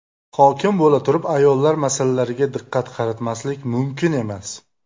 Hokim bo‘laturib ayollar masalalariga diqqat qaratmaslik mumkin emas.